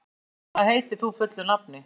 Geirhvatur, hvað heitir þú fullu nafni?